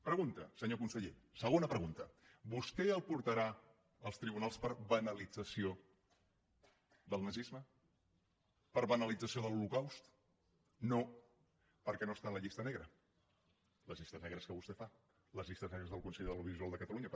pregunta senyor conseller segona pregunta vostè el portarà als tribunals per banalització del nazisme per banalització de l’holocaust no perquè no està en la llista negra les llistes negres que vostè fa les llistes negres del consell de l’audiovisual de catalunya